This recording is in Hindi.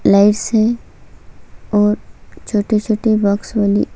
लाइट्स है और छोटे-छोटे बॉक्स बनी--